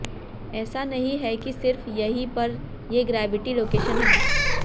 ऐसा नहीं है कि सिर्फ यहीं पर ये ग्रेविटी लोकेशन है